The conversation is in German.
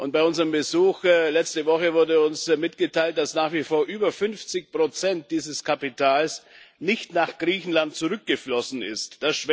Bei unserem Besuch letzte Woche wurde uns mitgeteilt, dass nach wie vor über 50 dieses Kapitals nicht nach Griechenland zurückgeflossen sind.